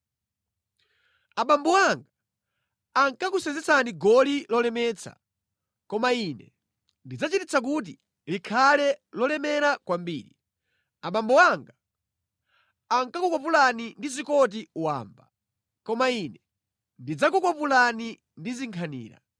Abambo anga ankakusenzetsani goli lolemetsa koma ine ndidzachititsa kuti likhale lolemera kwambiri. Abambo anga ankakukwapulani ndi zikoti wamba koma ine ndidzakukwapulani ndi zinkhanira.’ ”